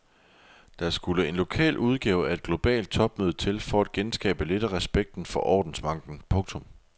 Der skulle en lokal udgave af et globalt topmøde til for at genskabe lidt af respekten for ordensmagten. punktum